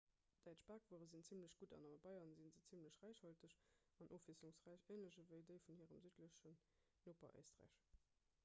däitsch bakwuere sinn zimmlech gutt an a bayern si se zimmlech räichhalteg an ofwiesslungsräich änlech ewéi déi vun hirem südlechen noper éisträich